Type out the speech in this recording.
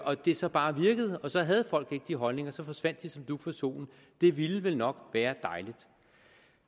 og det så bare virkede og så havde folk ikke de holdninger så forsvandt de som dug for solen det ville vel nok være dejligt